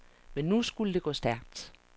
Men nu skulle det gå stærkt.